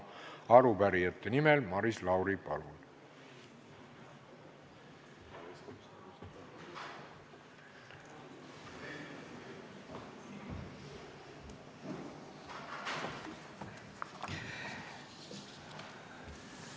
Arupärijate nimel Maris Lauri, palun!